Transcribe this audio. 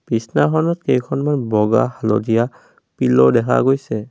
বিছনাখনত কেইখনমান বগা হালধীয়া পিল্লো দেখা গৈছে।